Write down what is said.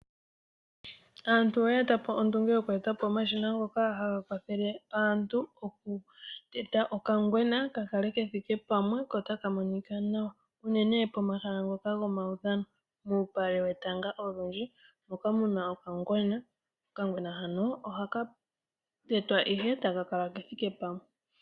Aantu oye etapo ondunge yoku etapo omashina ngoka haga kwathele aantu okuteta okangwena kakale kethike Pamwe oko otaka monika nawa unene pomahala ngoka gomaudhano moka muna okangwena . Okangwena hanl ohakatekwa ihe taka kala kethike pamwe.